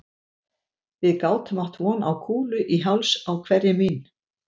Við gátum átt von á kúlu í háls á hverri mín